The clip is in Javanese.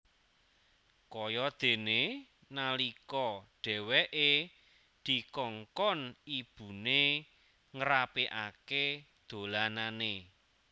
Kayadene nalika dheweke dikongkon ibune ngrapikake dolanane